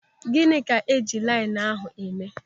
Gịnị ka eji linenu ahụ eme?